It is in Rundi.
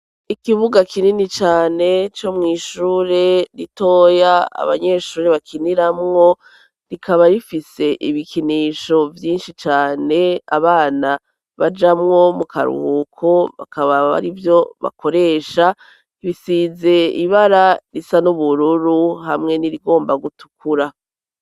Ikibuga kinini cane co mw'ishure ritoya abanyeshure bakiniramwo rikaba rifise ibikinisho vyinshi cane abana bajamwo mu karuhuko bakaba bari vyo bakoresha bisize ibara risa n'ubururu hamwe n'irigomba gutukura.